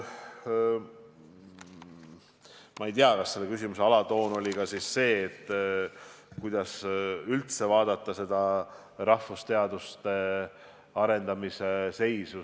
Ma ei tea, kas selle küsimuse alatoon oli ka see, kuidas üldse vaadata rahvusteaduste arendamise seisu.